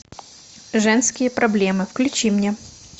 женские проблемы включи мне